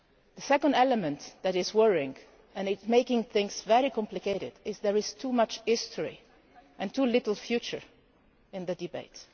The second element that is worrying and is making things very complicated is that there is too much history and too little future in the debate.